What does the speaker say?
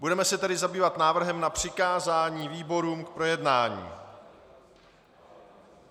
Budeme se tedy zabývat návrhem na přikázání výborům k projednání.